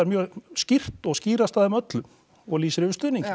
mjög skýrt og skýrast af þeim öllum og lýsir yfir stuðningi